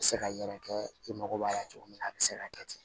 Se ka yɛrɛkɛ i mago b'a la cogo min na a bi se ka kɛ ten